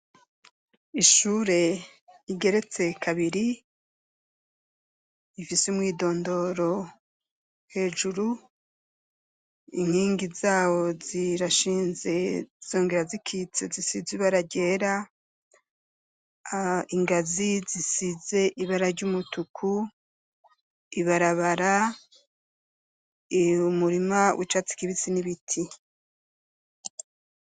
Ishure rigeretse kabiri rifise umwidondoro hejuru, inkingi zawo zirashinze zongera zikitse zisize ibara ryera, ingazi zisize ibara ry'umutuku, ibarabara, umurima w'icatsi kibisi n'ibiti.